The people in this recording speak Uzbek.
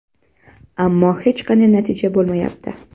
Ammo hech qanday natija bo‘lmayapti.